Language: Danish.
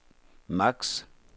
maks